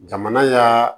Jamana y'a